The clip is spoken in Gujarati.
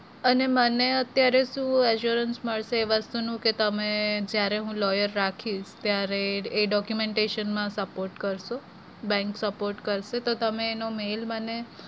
અને મને અત્યારે શું insurance મળશે? વસ્તુનું કે તમે જયારે હું lawyer રાખીશ ત્યારે એ documentation માં support કરશે bank support કરશે તો તમે એનો mail મને